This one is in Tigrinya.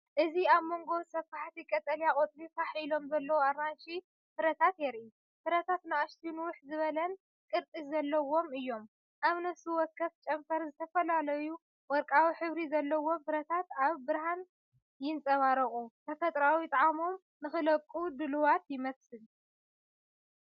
እዚ ኣብ መንጎ ሰፋሕቲ ቀጠልያ ቆጽሊ ፋሕ ኢሎም ዘለዉ ኣራንሺ ፍረታት የርኢ። ፍረታት ንኣሽቱን ንውሕ ዝበለን ቅርጺ ዘለዎም እዮም። ኣብ ነፍሲ ወከፍ ጨንፈር፡ ዝተፈላለዩ ወርቃዊ ሕብሪ ዘለዎም ፍረታት ኣብ ብርሃን ይንጸባረቑ፤ ተፈጥሮኣዊ ጣዕሞም ንኽለቐቑ ድሉዋት ይመስል።